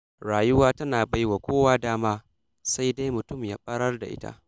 Rayuwa tana baiwa kowa dama, sai dai mutum ya ɓarar da ita.